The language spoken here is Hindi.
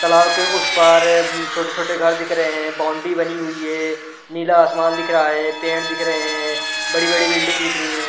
तालाव के उस पार छोटे-छोटे घर दिख रहे हैं बाउंड्री बनी हुई है नीला आसमान दिख रहा है पेंट दिख रहे हैं बड़ी बड़ी बिल्डिंग दिख रही है।